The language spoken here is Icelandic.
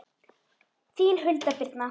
Þín Hulda Birna.